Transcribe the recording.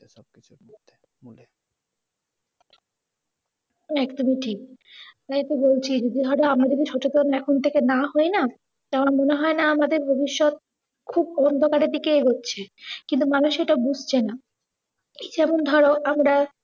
একদমই ঠিক। তাইতো বলছি যদি ধরো আমরা সচেতন যদি এখন থেকে না হই না টা আমার মনে হয় না, আমাদের ভবিষ্যৎ খুব অন্ধকারের দিকে এগোছে কিন্তু মানুষ সেটা বুঝছে না। এই যেমন ধরো আমরা